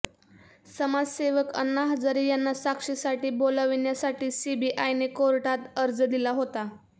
समाजसेवक अण्णा हजारे यांना साक्षीसाठी बोलाविण्यासाठी सीबीआयने कोर्टात अर्ज दिला होता